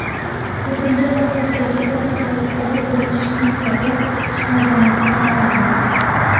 Ko‘pincha pasportdagi foto hayotdagi ko‘rinishimiz kabi chiqmaganidan noliymiz.